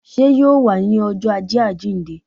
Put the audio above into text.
Sé yóò wá ní ọjọ́ ajé àjíìnde?